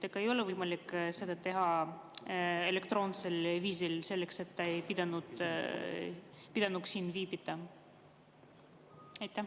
Ega ei ole võimalik seda teha elektroonsel viisil, et ta ei peaks siin viibima?